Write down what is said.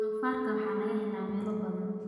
Doofaarka waxaa laga helaa meelo badan.